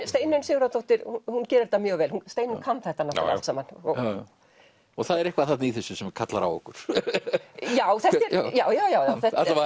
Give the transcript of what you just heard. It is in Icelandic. Steinunn Sigurðardóttir hún gerir þetta mjög vel Steinunn kann þetta náttúrulega allt saman það er eitthvað þarna í þessu sem kallar á okkur já já já já